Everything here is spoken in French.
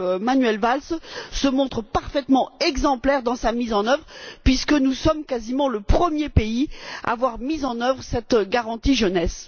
Manuel Valls, se montre parfaitement exemplaire dans sa mise en œuvre puisque nous sommes quasiment le premier pays à avoir mis en œuvre cette garantie jeunesse.